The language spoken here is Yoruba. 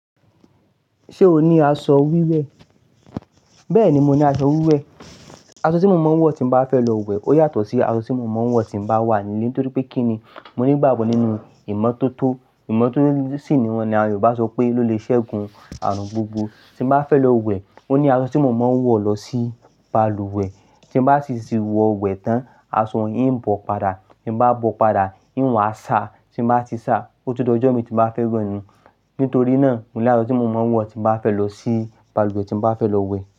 Ṣé o ní aṣọ wíwẹ̀? Bẹ́ẹ̀ni, mo ní aṣọ wíwẹ̀. Aṣọ tí mo máa ń wọ̀ tí bá fẹ́ lọ wẹ̀ ó yàtọ̀ sí aṣọ tí mo máa ń wọ̀ tí bá wà nílé. Nítorí pé kíni? Mo ní ìgbàgbọ́ nínú ìmọ́tótó. Ìmọ́tótó sì ni wọ́n ni àwọn Yorùbá sọ pé ló le ṣẹ́gun ààrùn gbogbo. Tí bá fẹ́ lọ wẹ̀, ó ní aṣọ tí mo máa ń wọ̀ lọ sí balùwẹ̀. Tí bá sì ti wọ̀ wẹ̀ tán, aṣọ yín ń bọ̀ padà. Tí bá bọ̀ padà, eín wá sá. Tí bá ti sá, ó tó dọjọ́ mi tí bá fẹ́ rìn nù. Nítorí náà, mo ní aṣọ tí mo máa ń wọ̀ tí bá fẹ́ lọ sí balùwẹ̀ tí bá fẹ́ lọ wẹ̀